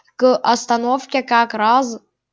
к остановке как раз